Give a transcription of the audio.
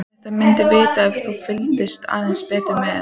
Þetta myndirðu vita ef þú fylgdist aðeins betur með.